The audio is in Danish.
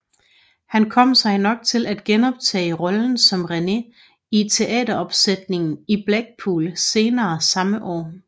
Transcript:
Han kom sig nok til at genoptage rollen som René i teateropsætningen i Blackpool senere samme år